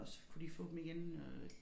Og så kunne de få dem igen øh